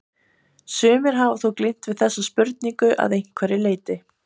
Sumir hafa þó glímt við þessa spurningu að einhverju leyti.